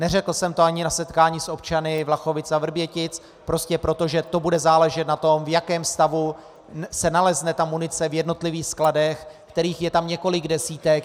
Neřekl jsem to ani na setkání s občany Vlachovic a Vrbětic prostě proto, že to bude záležet na tom, v jakém stavu se nalezne munice v jednotlivých skladech, kterých je tam několik desítek.